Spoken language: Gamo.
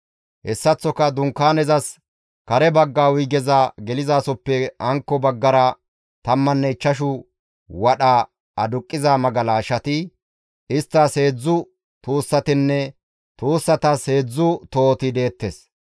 Hessaththoka Dunkaanezas kare bagga wuygeza gelizasoppe hankko baggara tammanne ichchashu wadha aduqqiza magalashati, isttas heedzdzu tuussatinne tuussatas heedzdzu tohoti deettes.